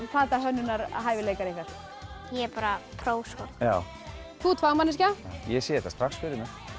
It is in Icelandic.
fatahönnunar hæfileikar ykkar ég er bara pró sko þú ert fagmanneskja ég sé þetta strax fyrir